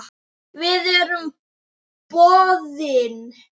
Við erum boðin.